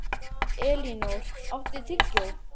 Elinór, áttu tyggjó?